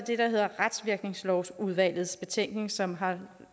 retsvirkningslovsudvalgets betænkning som har